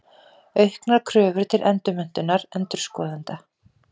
Auknar kröfur til endurmenntunar endurskoðenda.